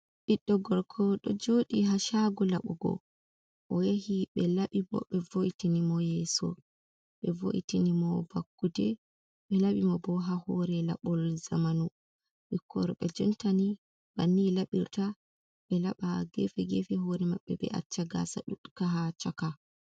Ɓiɗɗo gorko ɗon jooɗi haa saago laɓugo, oyehi ɓelaɓi boh ɓe vo'itinmo yeeso, ɓe wo'itinmo vakkude, ɓelaɓimo boh haa hore laɓol jamanu, ɓikkon worɓe jonta ni banni ɓelaɓirta, ɓelaɓa gefe gefe hoore maɓe banni, ɓe acca gasa ɗukka haa chaka.